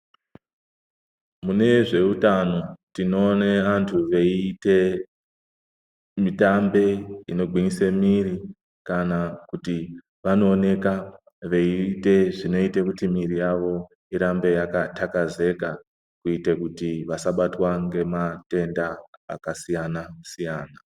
Mune zveutano tinoone antu veiite mitambe inogwinyise miri kana kuti vanooneka veiite zvinoita kuti miri yavo irambe yakathakazeka kuite kuti vasabatwa ngematenda akasiyana siyana.